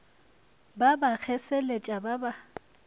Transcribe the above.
ba ba kgeseletša ba sa